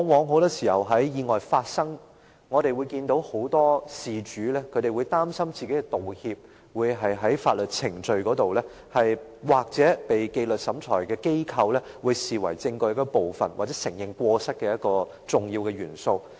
很多時候，在意外發生後，我們往往看到很多事主會擔心，若作出道歉，該舉會在法律程序或在紀律審裁機構眼中，視為證據一部分或承認過失的一個重要元素。